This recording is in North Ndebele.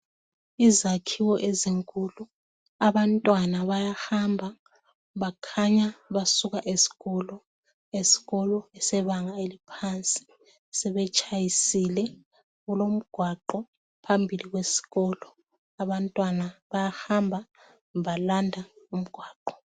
Izakhiwo ezinkulu abantwana bayahamba bakhanya basuka esikolo sebanga eliphansi sebetshayisile kulomgwaqo phambili kwesikolo abantwana bayahamba balanda umgwaqo